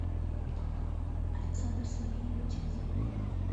александр сергеевич казаринов